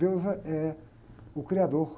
Deus eh, é o criador.